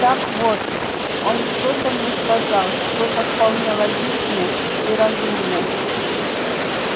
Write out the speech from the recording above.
так вот он что-то мне сказал что-то вполне логичное и разумное